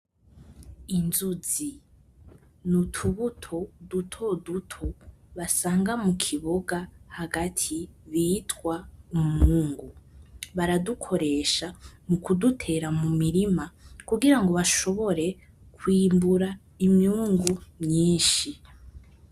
Inzuzi, n'utubuto dutoduto, basanga mukiboga hagati bita umwungu. Baradukoresha mukudutera mumirima, kugira bashobore kwimbura imyungu myinshi.